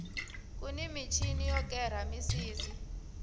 kuni michini yo kera misisi